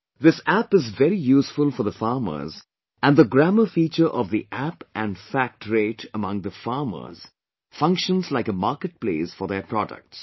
This App is very useful for the farmers and the grammar feature of the App and FACT rate among the farmers functions like a market place for their products